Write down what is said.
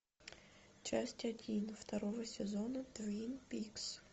часть один второго сезона твин пикс